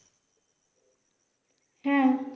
হ্যাঁ